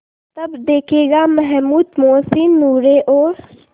तब देखेगा महमूद मोहसिन नूरे और